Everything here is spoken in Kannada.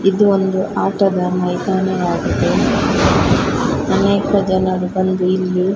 ಇದು ಒಂದು ಆಟದ ಮೈದಾನವಾಗಿದೆ ಅನೇಕ ಜನರು ಬಂದು ಇಲ್ಲಿ --